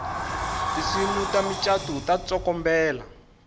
tinsimu ta mucato ta tsokombela